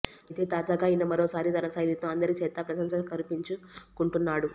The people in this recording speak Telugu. అయితే తాజాగా ఈయన మరోసారి తన శైలితో అందరి చేత ప్రశంసలు కురిపించుకుంటున్నాడు